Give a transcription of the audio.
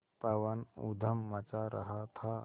पवन ऊधम मचा रहा था